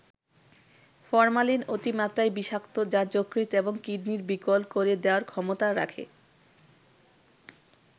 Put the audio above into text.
Formalin অতিমাত্রায় বিষাক্ত যা যকৃত এবং কিডনি বিকল করে দেয়ার ক্ষমতা রাখে।